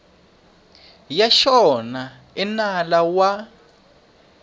ya xona i nala wa